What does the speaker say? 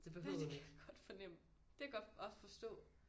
Nej det kan jeg godt fornemme. Det godt også forstå